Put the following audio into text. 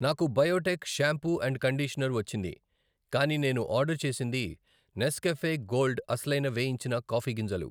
నాకు Biotique shampoo and conditioner వచ్చింది కానీ నేను ఆర్డర్ చేసింది నెస్కాఫే గోల్డ్ అసలైన వేయించిన కాఫీ గింజలు .